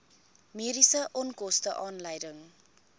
mediese onkoste aanleiding